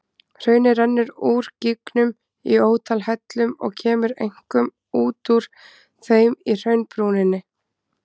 Hraunið rennur úr gígnum í ótal hellum og kemur einkum út úr þeim í hraunbrúninni.